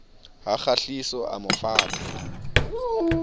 ha kgahliso a mo fata